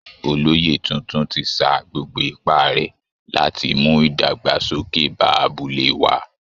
Olóyè tuntun ti sa gbogbo ipá rẹ̀ láti mú ìdàgbàsókè bá abúlé wa